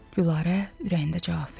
Gülarə ürəyində cavab verdi.